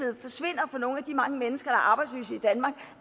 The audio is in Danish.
forsvinder fra nogle af de mange mennesker der er arbejdsløse i danmark